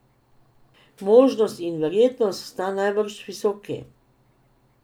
Možnost in verjetnost sta najbrž visoki.